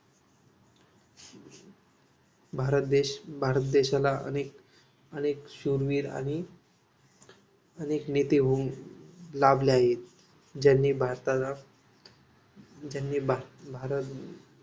भारत देश भारत देशाला अनेक अनेक शूरवीर आणि अनेक नेते होऊन लाभले आहेत ज्यांनी भारताला ज्यांनी भारत